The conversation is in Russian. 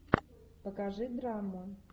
покажи драму